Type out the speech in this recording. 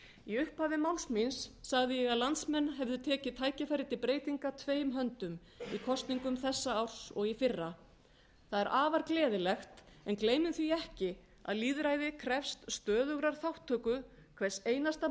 í upphafi máls míns sagði ég að landsmenn hefðu tekið tækifæri til breytinga tveim höndum í kosningum þessa árs og í fyrra það er afar gleðilegt en gleymum því ekki að lýðræði krefst stöðugrar þátttöku hvers einasta